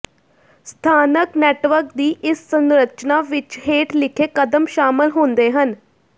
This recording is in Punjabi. ਸਥਾਨਕ ਨੈਟਵਰਕ ਦੀ ਇਸ ਸੰਰਚਨਾ ਵਿੱਚ ਹੇਠ ਲਿਖੇ ਕਦਮ ਸ਼ਾਮਲ ਹੁੰਦੇ ਹਨ